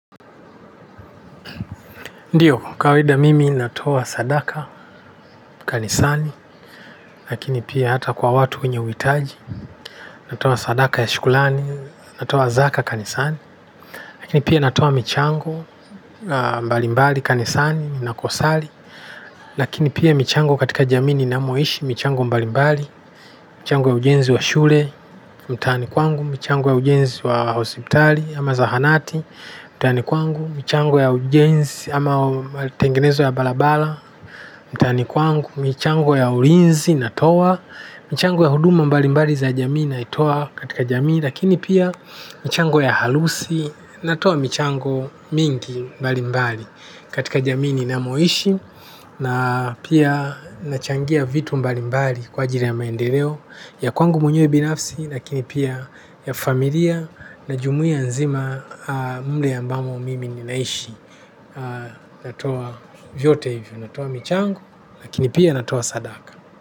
Ndio, kawaida mimi natoa sadaka, kanisani, lakini pia hata kwa watu wenye huhitaji, natoa sadaka ya shukurani, natoa zaka, kanisani, lakini pia natoa michango, mbalimbali kanisani na kusali lakini pia michango katika jamii ninamoishi, michango mbalimbali, michango ya ujenzi wa shule, mtaani kwangu, michango ya ujenzi wa hospitali, ama zahanati, mtaani kwangu, michango ya ujenzi, ama tengenezo ya barabara, mtaani kwangu michango ya ulinzi natoa michango ya huduma mbali mbali za jamii naitoa katika jamii, lakini pia michango ya harusi natoa michango mingi mbali mbali katika jamii ninamoishi na pia nachangia vitu mbali mbali kwa ajili ya maendeleo, ya kwangu mwenye binafsi, lakini pia ya familia na jumuia nzima mle ambamo mimi ninaishi natoa vyote hivyo, natoa michango, lakini pia natoa sadaka.